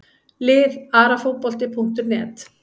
Lið Arafotbolti.net